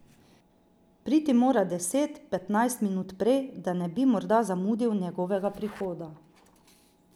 Priti mora deset, petnajst minut prej, da ne bi morda zamudil njegovega prihoda.